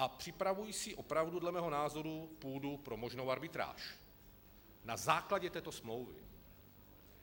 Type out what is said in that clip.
A připravují si opravdu, dle mého názoru, půdu pro možnou arbitráž na základě této smlouvy.